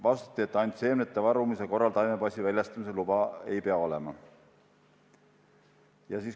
Vastati, et ainult seemnete varumise korral taimepassi väljastamise luba ei pea olema.